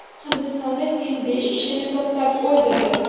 Hindistonda fil besh kishini toptab o‘ldirdi.